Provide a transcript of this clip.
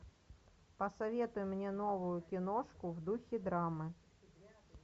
посоветуй мне новую киношку в духе драмы